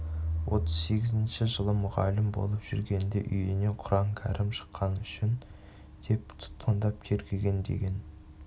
отыз сегізінші жылы мұғалім болып жүргенде үйінен құран-кәрім шыққаны үшін деп тұтқындап тергеген деген